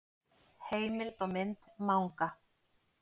Heimild og mynd Manga.